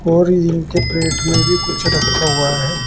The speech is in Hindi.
और इनके प्लेट में भी कुछ रखा हुआ है।